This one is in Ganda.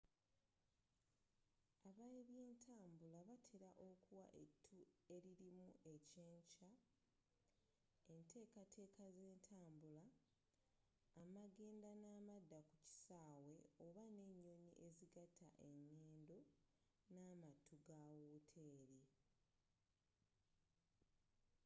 ab'ebyentabula batela okuwa ettu elilimu ekyenkya enteekateeka z'entabula amagenda n'amaddaku kisaawe oba n'enyonyi ezigatta engendo ne'amattu ga woteeri